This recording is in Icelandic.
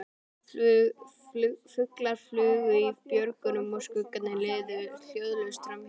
Fuglar flugu í björgunum og skuggarnir liðu hljóðlaust framhjá þeim.